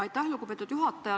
Aitäh, lugupeetud juhataja!